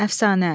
Əfsanə.